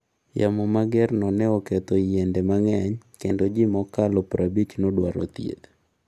Yamo magerno ne oketho yiende mang’eny, kendo ji mokalo prabich nodwaro thieth.